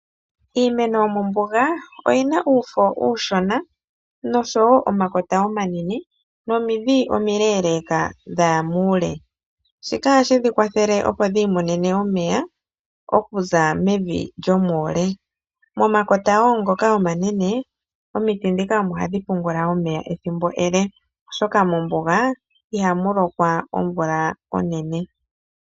Iimeno yomombuga oyiina uufo uushona nosho wo omakota ,omanene nomidhi omileleka dhaya muule ,shika ohashi dhi kwathele opo dhi imonene omeya okuza mevi lyomuule. Momakota wo ngoka omanene omidhi dhika omo hadhi pungula omeya ethimbo ele oshoka mombuga iha mulokwa omvula onene.